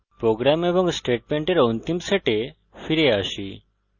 programme এবং স্টেটমেন্টের অন্তিম সেটে ফিরে আসি